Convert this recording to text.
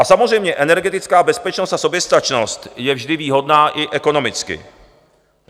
A samozřejmě energetická bezpečnost a soběstačnost je vždy výhodná i ekonomicky.